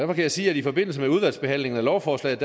kan jeg sige at i forbindelse med udvalgsbehandlingen af lovforslaget